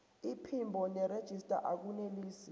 iphimbo nerejista akunelisi